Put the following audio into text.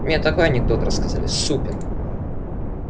мне такой анекдот рассказали супер